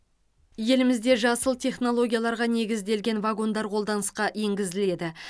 елімізде жасыл технологияларға негізделген вагондар қолданысқа енгізіледі